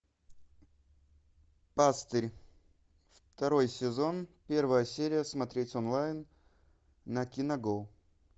пастырь второй сезон первая серия смотреть онлайн на киногоу